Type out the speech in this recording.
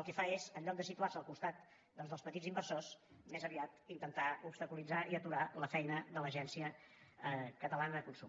el que fa és en lloc de situar se al costat dels petits inversors més aviat intentar obstaculitzar i aturar la feina de l’agència catalana del consum